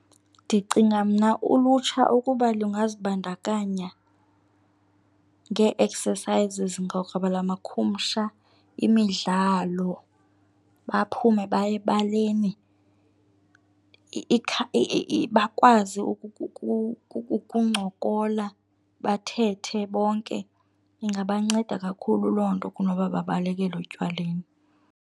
Ndicinga mna ulutsha ukuba lungazibandakanya ngee-exercises ngokwelamakhumsha, imidlalo baphume baye ebaleni bakwazi ukuncokola bathethe bonke. Ingabanceda kakhulu loo nto kunoba babaleke otywaleni.